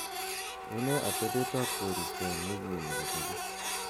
unee atebet ab koristo en wigini kobegu